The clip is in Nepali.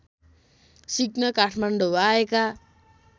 सिक्न काठमाडौँ आएका